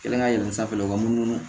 Kelen ka yɛlɛn sanfɛ u ka munumunu